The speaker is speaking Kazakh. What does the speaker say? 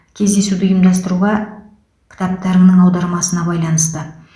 кездесуді ұйымдастыруға кітаптарыңның аудармасына байланысты